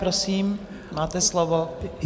Prosím, máte slovo.